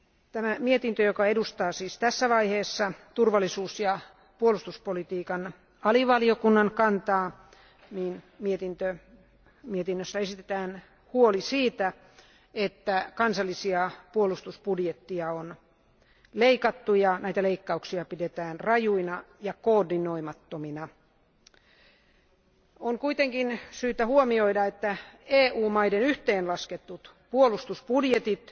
Tässä mietinnössä, joka edustaa siis tässä vaiheessa turvallisuus ja puolustuspolitiikan alivaliokunnan kantaa, esitetään huoli siitä, että kansallisia puolustusbudjetteja on leikattu, ja leikkauksia pidetään rajuina ja koordinoimattomina. On kuitenkin syytä huomioida, että EU maiden yhteenlaskettu puolustusbudjetti